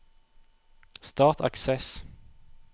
Start Access